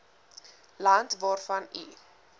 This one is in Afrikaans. land waarvan u